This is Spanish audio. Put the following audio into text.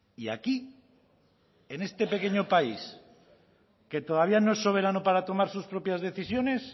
y aquí en este pequeño país que todavía no es soberano para tomar sus propias decisiones